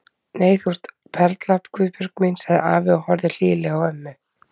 Nei, þú ert perla Guðbjörg mín sagði afi og horfði hlýlega á ömmu.